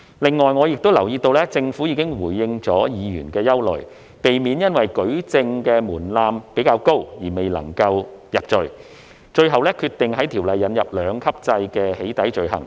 此外，我亦留意到政府已回應議員的憂慮，避免因舉證的門檻較高而未能夠入罪，最後決定在《條例草案》引入兩級制的"起底"罪行。